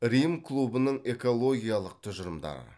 рим клубының экологиялық тұжырымдары